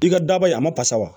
I ka daba ye a ma fasa wa